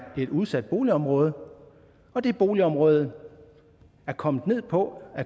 et udsat boligområde og det boligområde er kommet ned på